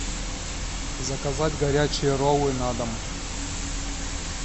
заказать горячие роллы на дом